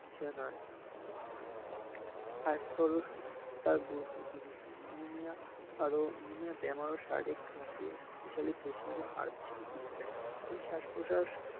স্বাস্থ্য আৰু সুস্থতাৰ গুৰুত্ব কি বেছি নিয়মীয়া আৰু নিয়মীয়া বেমাৰৰ শাৰীৰিক ই স্বাষ প্ৰস্বাষ